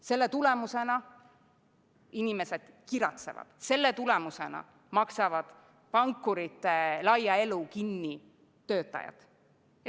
Selle tulemusena inimesed kiratsevad, selle tulemusena maksavad pankurite laia elu kinni töötajad.